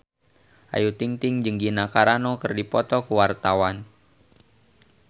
Ayu Ting-ting jeung Gina Carano keur dipoto ku wartawan